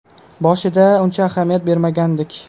Boshida uncha ahamiyat bermagandik.